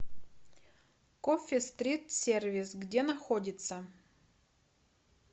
кофи стрит сервис где находится